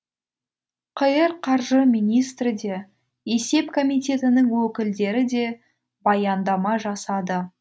қр қаржы министрі де есеп комитетінің өкілдері де баяндама жасады